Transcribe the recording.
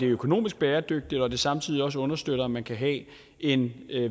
økonomisk bæredygtigt og at det samtidig også understøtter at man kan have en